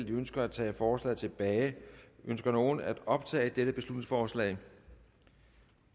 de ønsker at tage forslaget tilbage ønsker nogen at optage dette beslutningsforslag